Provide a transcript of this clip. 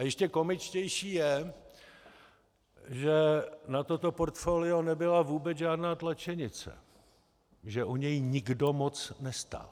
A ještě komičtější je, že na toto portfolio nebyla vůbec žádná tlačenice, že o něj nikdo moc nestál.